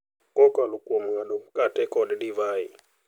Kokalo kuom ng’ado mkate kod divai.